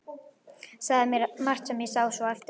Sagði margt sem ég sá svo eftir.